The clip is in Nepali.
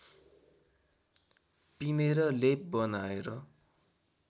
पिनेर लेप बनाएर